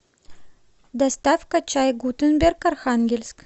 доставка чай гутенберг архангельск